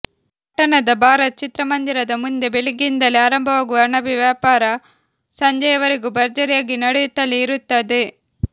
ಪಟ್ಟಣದ ಭಾರತ್ ಚಿತ್ರಮಂದಿರದ ಮುಂದೆ ಬೆಳಿಗ್ಗೆಯಿಂದಲೇ ಆರಂಭವಾಗುವ ಅಣಬೆ ವ್ಯಾಪಾರ ಸಂಜೆವರೆಗೂ ಭರ್ಜರಿಯಾಗಿ ನಡೆಯುತ್ತಲೇ ಇರುತ್ತದೆ